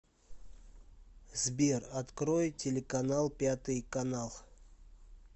сбер открой телеканал пятый канал